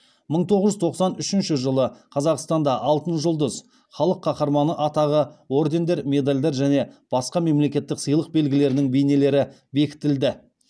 мың тоғыз жүз тоқсан үшінші жылы қазақстанда алтын жұлдыз халық қаһарманы атағы ордендер медальдар және басқа мемлекеттік сыйлық белгілерінің бейнелері бекітілді